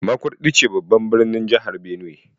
Makurdi ce babban birnin kasar Jihar Benue.